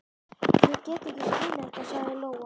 Ég get ekki skilið þetta, sagði Lóa.